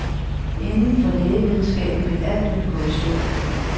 Inden for lægevidenskaben vil alt vel gå i stå.